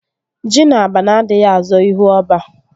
Ji na abana adịghị azọ ihu ọba